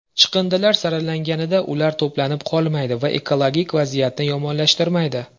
Chiqindilar saralanganida ular to‘planib qolmaydi va ekologik vaziyatni yomonlashtirmaydi.